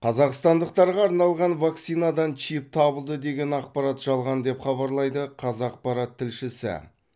қазақстандықтарға арналған вакцинадан чип табылды деген ақпарат жалған деп хабарлайды қазақпарат тілшісі